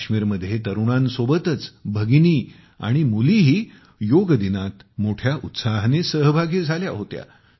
काश्मीरमध्ये तरुणांसोबतच भगिनी आणि मुलीही योग दिनात मोठ्या उत्साहाने सहभागी झाल्या होत्या